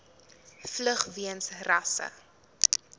vlug weens rasse